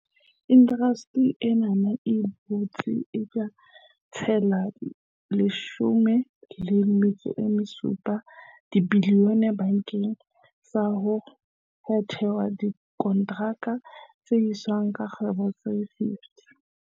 Indasteri ena e boetse e tla tsetela R1.7 bilione bakeng sa ho thehwa ha dikonteraka tsa dihwai tsa kgwebo tse 50.